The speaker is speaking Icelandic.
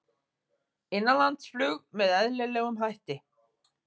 Innanlandsflug með eðlilegum hætti